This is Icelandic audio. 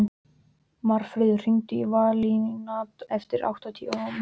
Marfríður, hringdu í Valíant eftir áttatíu mínútur.